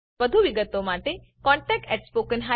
વધુ વિગત માટે contactspoken tutorialorg પર સંપર્ક કરો